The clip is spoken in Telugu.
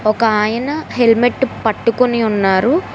ఒకాయన హెల్మెట్ పట్టుకొని ఉన్నారు.